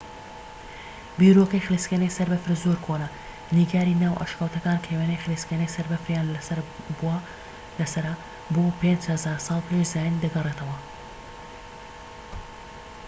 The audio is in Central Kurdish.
بیرۆکەی خلیسکێنەی سەر بەفر زۆر کۆنە - نیگاری ناو ئەشکەوتەکان کە وێنەی خلیسکێنەی سەر بەفریان لە سەرە بۆ 5000 ساڵ پێش زایین دەگەڕێتەوە‎!